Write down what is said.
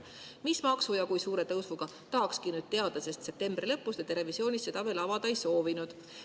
Mis maksu ja kui suure tõusuga, tahakski nüüd teada, sest septembri lõpus te televisioonis seda veel avada ei soovinud.